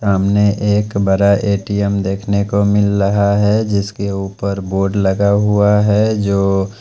सामने एक बड़ा ए_टी_एम देखने को मिल रहा है जिसके ऊपर बोर्ड लगा हुआ है जो--